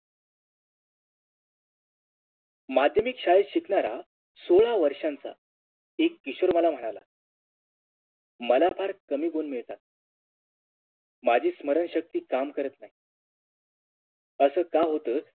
माध्यमिक शाळेत शिकणारा सोळा वर्षांचा एक किशोर मला म्हणाला मला फार कमी गुण मिळतात माजी स्मरण शक्ती काम करत नाही असं का होत